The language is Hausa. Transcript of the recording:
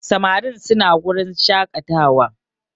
Samarin suna wurin shakatawa